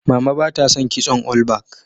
Mama ba ta son kitson olbak